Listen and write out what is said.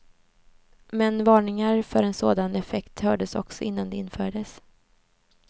Men varningar för en sådan effekt hördes också innan det infördes.